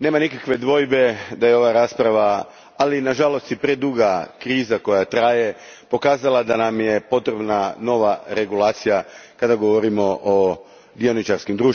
nema nikakve dvojbe da je ova rasprava, ali nažalost i preduga kriza koja još traje, pokazala da nam je potrebna nova regulacija kada govorimo o dioničarskim društvima.